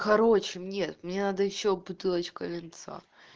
короче не мне надо ещё бутылочку винца